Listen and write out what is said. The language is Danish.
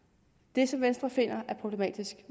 det som venstre finder problematisk